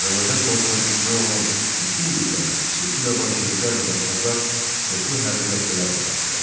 Azərbaycan xalqına düşmən olan bütün qüvvələr, xüsusilə vaçeviklər və daşnaqlar çoxlu hərbi dəstələr yaratdılar.